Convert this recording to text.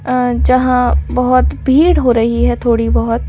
अ जहां बहुत भीड़ हो रही है थोड़ी-बहुत --